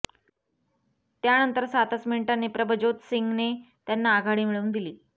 त्यानंतर सातच मिनिटांनी प्रभज्योत सिंगने त्यांना आघाडी मिळवून दिली